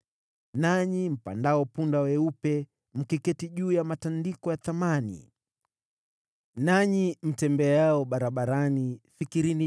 “Nanyi mpandao punda weupe, mkiketi juu ya matandiko ya thamani, nanyi mtembeao barabarani, fikirini